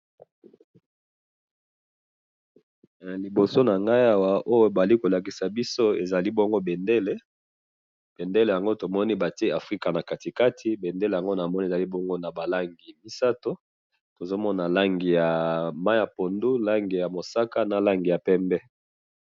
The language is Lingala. na liboso nangai awa, oyo bazali kolakisa biso, ezali bongo bendele, bendele yango tomoni batie africa nakati kati, bendele yango namoni ezali bongo naba langi misatu, tozomona langi ya mayi ya pondu, na langi ya mosaka, na langi ya pembe